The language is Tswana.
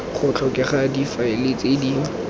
go tlhokega difaele tse di